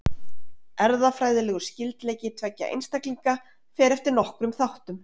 Erfðafræðilegur skyldleiki tveggja einstaklinga fer eftir nokkrum þáttum.